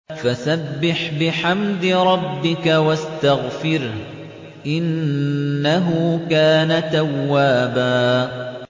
فَسَبِّحْ بِحَمْدِ رَبِّكَ وَاسْتَغْفِرْهُ ۚ إِنَّهُ كَانَ تَوَّابًا